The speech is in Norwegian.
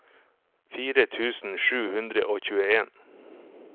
fire tusen sju hundre og tjueen